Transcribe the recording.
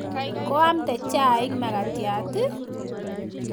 Koamde chaik makatiat i?